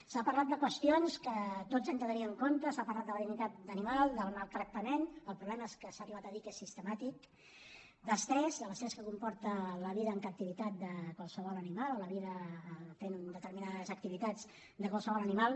s’ha parlat de qüestions que tots hem de tenir en compte s’ha parlat de la dignitat animal del maltractament el problema és que s’ha arribat a dir que és sistemàtic d’estrès de l’estrès que comporta la vida en captivitat de qualsevol animal o la vida fent determinades activitats de qualsevol animal